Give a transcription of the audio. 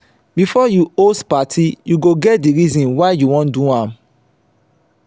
before you host parti you go get the reason why you won do am